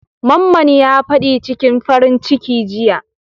Mamman ya fad'i cikin farin ciki jiya.